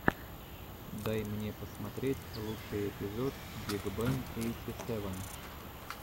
дай мне посмотреть лучший эпизод биг бен эйти сэвэн